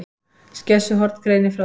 Skessuhorn greinir frá þessu